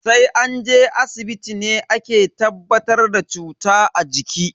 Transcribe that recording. Sai an je asibiti ne ake tabbatar da cuta a jiki.